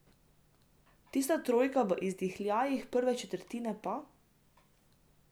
Tista trojka v izdihljajih prve četrtine pa...